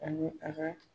Ani a ka